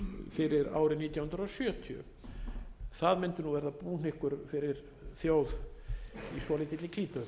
fyrir árið nítján hundruð sjötíu það mundi nú vera búhnykkur fyrir þjóð í svolítilli klípu